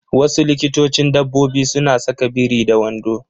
Wasu likitocin dabbobi suna saka biri da wando.